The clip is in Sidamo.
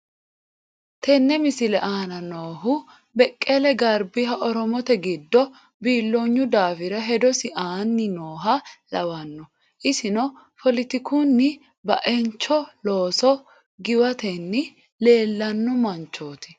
tene misilete aana noohu beqele garbiha oromote gido bilooynu daafira hedosi aani nooha lawano issino foolitikunita ba'encho looso giwatenni leellano manchoti